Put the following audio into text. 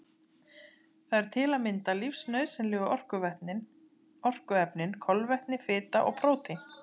Það eru til að mynda lífsnauðsynlegu orkuefnin kolvetni, fita og prótín.